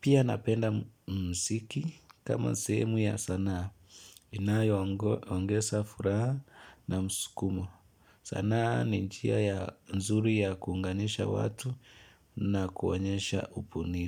Pia napenda msiki kama sehemu ya sanaa inayoongesa furaha na mskumo. Sanaa ninjia ya nzuri ya kuunganisha watu na kuonyesha upunii.